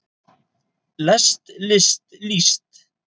lest list líst